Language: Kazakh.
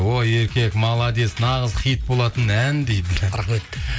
о еркек молодец нағыз хит болатын ән дейді рахмет